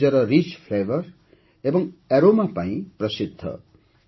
ଏହା ନିଜର Rich flavour ଏବଂ aroma ପାଇଁ ପ୍ରସିଦ୍ଧ